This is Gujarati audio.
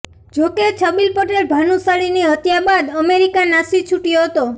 જો કે છબીલ પટેલ ભાનુશાળીની હત્યા બાદ અમેરિકા નાસી છૂટ્યો હતો